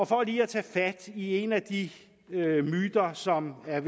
for lige at tage fat i en af de myter som er